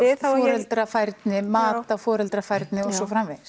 foreldrafærni mat á foreldrafærni og svo framvegis